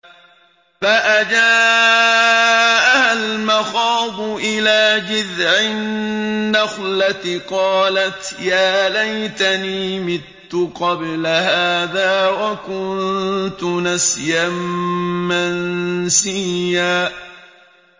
فَأَجَاءَهَا الْمَخَاضُ إِلَىٰ جِذْعِ النَّخْلَةِ قَالَتْ يَا لَيْتَنِي مِتُّ قَبْلَ هَٰذَا وَكُنتُ نَسْيًا مَّنسِيًّا